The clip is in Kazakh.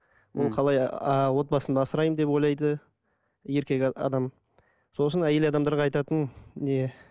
ол қалай а отбасымды асыраймын деп ойлайды еркек адам сол үшін әйел адамдарға айтатыным не